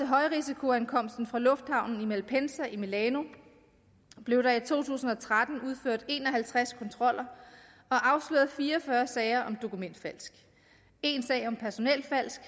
højrisikoankomsten fra lufthavnen i malpensa i milano blev der i to tusind og tretten udført en og halvtreds kontroller og afsløret fire og fyrre sager om dokumentfalsk en sag om personelfalsk